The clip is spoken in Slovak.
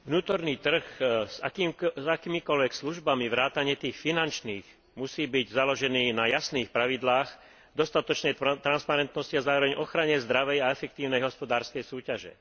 Vnútorný trh s akýmikoľvek službami vrátane tých finančných musí byť založený na jasných pravidlách, v dostatočnej transparentnosti a zároveň ochrane zdravej a efektívnej hospodárskej súťaže.